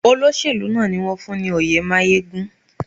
Olóṣèlú náà ni wón fún ní oyè máyégún.